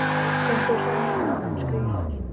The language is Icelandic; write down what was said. Þú ættir að sjá mig núna, elskhugi sæll.